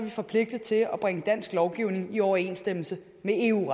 forpligtet til at bringe dansk lovgivning i overensstemmelse med eu